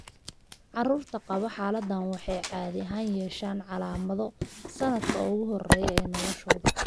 Carruurta qaba xaaladdan waxay caadi ahaan yeeshaan calaamado sannadka ugu horreeya ee noloshooda.